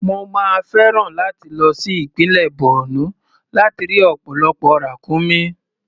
Mo máa fẹ́ràn láti lọ sí ìpínlẹ̀ Borno láti rí ọ̀pọ̀lọpọ̀ ràkúnmí.